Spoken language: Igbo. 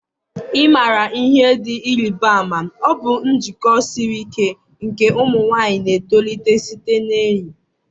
ị maara ihe dị ịrịba ama? Ọ bụ njikọ siri ike nke ụmụ nwanyị na-etolite site na enyi